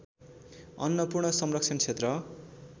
अन्नपूर्ण संरक्षण क्षेत्र